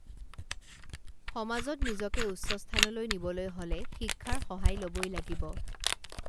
সমাজত নিজকে উচ্চ স্থানলৈ নিবলৈ হলে শিক্ষাৰ সহায় লবই লাগিব